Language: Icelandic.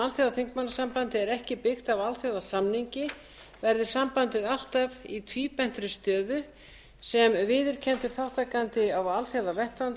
alþjóðaþingmannasambandið er ekki byggt á alþjóðasamningi verði sambandið alltaf í tvíbentri stöðu sem viðurkenndur þátttakandi á alþjóðavettvangi